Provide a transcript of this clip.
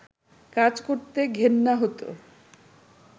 কাজ করতে ঘেন্না হতো